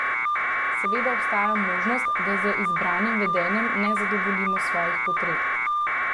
Seveda obstaja možnost, da z izbranim vedenjem ne zadovoljimo svojih potreb.